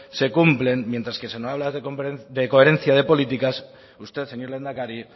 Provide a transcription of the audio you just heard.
se cumplen mientras que se nos habla de coherencia de políticas usted señor lehendakari